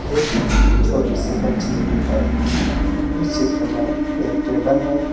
एक छोटी सी बच्ची भी है इस चित्र में एक टेबल है।